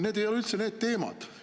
Need ei ole üldse need teemad.